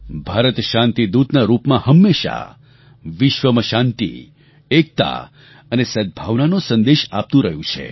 ભારત શાંતિદૂતના રૂપમાં હંમેશા વિશ્વમાં શાંતિ એકતા અને સદ્ભાવનાનો સંદેશ આપતું રહ્યું છે